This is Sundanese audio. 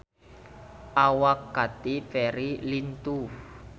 Awak Katy Perry lintuh